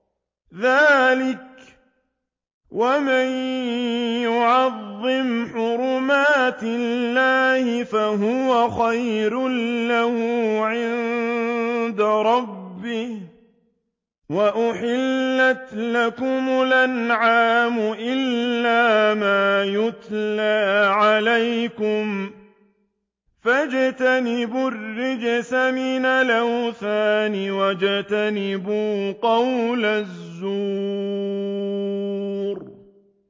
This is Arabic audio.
ذَٰلِكَ وَمَن يُعَظِّمْ حُرُمَاتِ اللَّهِ فَهُوَ خَيْرٌ لَّهُ عِندَ رَبِّهِ ۗ وَأُحِلَّتْ لَكُمُ الْأَنْعَامُ إِلَّا مَا يُتْلَىٰ عَلَيْكُمْ ۖ فَاجْتَنِبُوا الرِّجْسَ مِنَ الْأَوْثَانِ وَاجْتَنِبُوا قَوْلَ الزُّورِ